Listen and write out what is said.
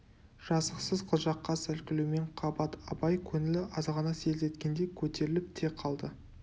жазықсыз қылжаққа сәл күлумен қабат абай көңілі азғана селт еткендей көтеріліп те қалды